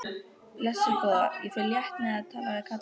Blessuð góða, ég fer létt með að tala við kallinn.